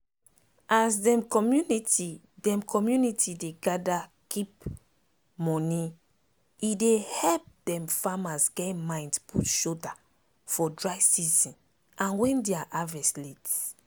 as dem community dem community dey gather keep moneye dey help dem farmers get mind put shoulder for dry season and wen dia harvest late.